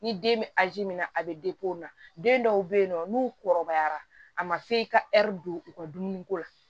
Ni den bɛ min na a bɛ o la den dɔw bɛ yen nɔ n'u kɔrɔbayara a ma f'i ka don u ka dumuniko la